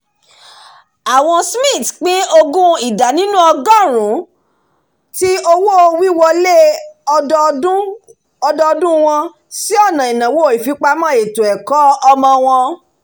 àwọn smiths pin ogún ida ninu ọgọ́run ti owó-wíwọlé ọdọdún wọn sí ọ̀nà ináwó ìfipamọ́ ètò-ẹ̀kọ́ ọmọ wọn